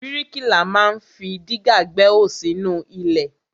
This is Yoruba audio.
Bríkìlà ma ń fi dígà gbẹ́hò sínú ilẹ̀.